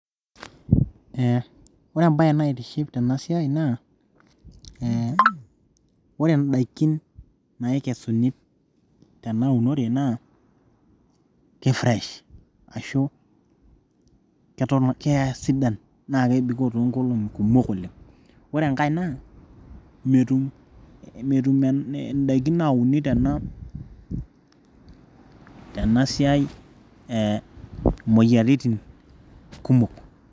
ee ore embaye naitiship tena siai naa ee ore indaikin naikesuni tena unore naa kifresh ashu keasidan naa kebikoo toonkolong'i kumok oleng ore enkay naa metum indaikin nauni tena siai imoyiaritin kumok.